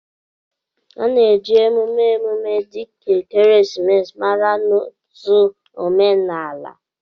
A na-eji emume emume dịka ekeresimesi mara n'ọtụtụ omenala.